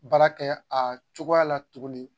Baara kɛ a cogoya la tugunni.